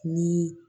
Ni